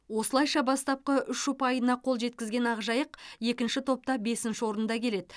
осылайша бастапқы үш ұпайына қол жеткізген ақжайық екінші топта бесінші орында келеді